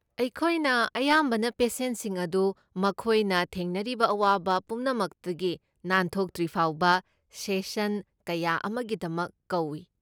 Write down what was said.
ꯑꯩꯈꯣꯏꯅ ꯑꯌꯥꯝꯕꯅ ꯄꯦꯁꯦꯟꯁꯤꯡ ꯑꯗꯨ ꯃꯈꯣꯏꯅ ꯊꯦꯡꯅꯔꯤꯕ ꯑꯋꯥꯕ ꯄꯨꯝꯅꯃꯛꯇꯒꯤ ꯅꯥꯟꯊꯣꯛꯇ꯭ꯔꯤꯐꯥꯎꯕ ꯁꯦꯁꯟ ꯀꯌꯥ ꯑꯃꯒꯤꯗꯃꯛ ꯀꯧꯏ ꯫